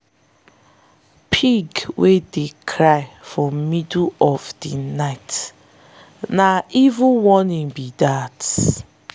pig wey dey cry for middle of di night na evil warning be dat.